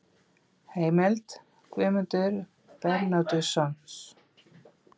Heimild: Guðmundur Bernódusson.